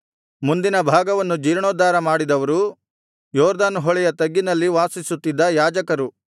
ಮುಂದಿನ ಭಾಗವನ್ನು ಜೀರ್ಣೋದ್ಧಾರ ಮಾಡಿದವರು ಯೊರ್ದನ್ ಹೊಳೆಯ ತಗ್ಗಿನಲ್ಲಿ ವಾಸಿಸುತ್ತಿದ್ದ ಯಾಜಕರು